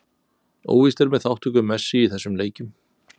Óvíst er með þátttöku Messi í þessum leikjum.